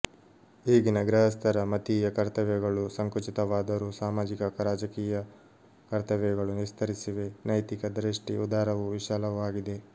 ಈಗಿನ ಗೃಹಸ್ಥರ ಮತೀಯ ಕರ್ತವ್ಯಗಳು ಸಂಕುಚಿತವಾದರೂ ಸಾಮಾಜಿಕ ರಾಜಕೀಯ ಕರ್ತವ್ಯಗಳು ವಿಸ್ತರಿಸಿವೆ ನೈತಿಕ ದೃಷ್ಟಿ ಉದಾರವೂ ವಿಶಾಲವೂ ಆಗಿದೆ